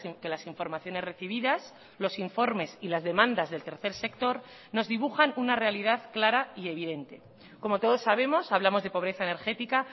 que las informaciones recibidas los informes y las demandas del tercer sector nos dibujan una realidad clara y evidente como todos sabemos hablamos de pobreza energética